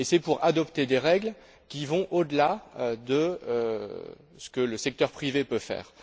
Et c'est pour adopter des règles qui vont au delà de ce que le secteur privé peut faire.